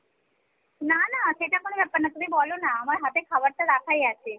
না না সেটা কোনো ব্যাপার না তুমি বলনা আমার হাতে খাবারটা রাখাই আছে।